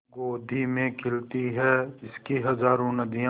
गोदी में खेलती हैं इसकी हज़ारों नदियाँ